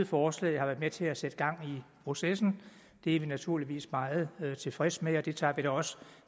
forslaget har været med til at sætte gang i processen det er vi naturligvis meget tilfredse med og det tager vi da også